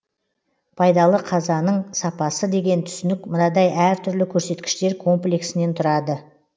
пайдалы қазаның сапасы деген түсінік мынадай әр түрлі көрсеткіштер комплексінен тұрады